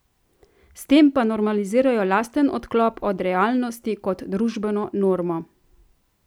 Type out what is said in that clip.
S tem pa normalizirajo lasten odklop od realnosti kot družbeno normo.